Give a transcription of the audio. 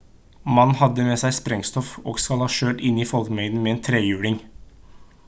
mannen hadde med seg sprengstoff og skal ha kjørt inn i en folkemengde med en trehjuling